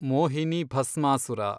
Mohini Bhasmasura